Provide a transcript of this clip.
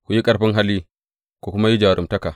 Ku yi ƙarfin hali, ku kuma yi jaruntaka.